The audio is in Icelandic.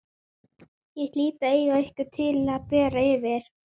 Ég hlýt að eiga eitthvað til að bera yfir.